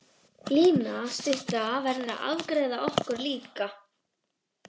Lína stutta verður að afgreiða okkur líka.